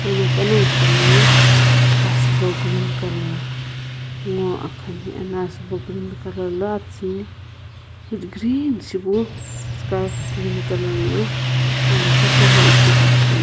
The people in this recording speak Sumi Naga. ano pano sho loye asiibo green colour nguo akaha ne ana asiibo green colour loastiini green shipu scarf green colour na amta la ighighi akhane.